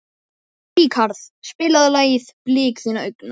Ríkharð, spilaðu lagið „Blik þinna augna“.